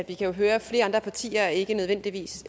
jo høre at flere andre partier ikke nødvendigvis